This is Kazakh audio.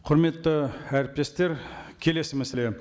құрметті әріптестер келесі мәселе